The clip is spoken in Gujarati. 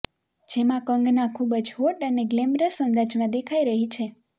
જેમાં કંગના ખબૂજ હોટ અને ગ્લેમરસ અંદાજમાં દેખાઈ રહી છે